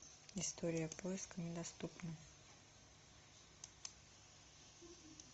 история поиска недоступна